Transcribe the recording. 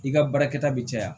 I ka baarakɛta bɛ caya